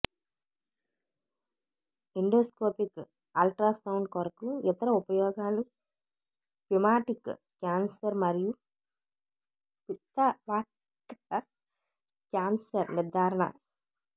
endoscopic ultrasound కొరకు ఇతర ఉపయోగాలు పిమాటిక్ క్యాన్సర్ మరియు పిత్త వాహికల క్యాన్సర్ నిర్ధారణ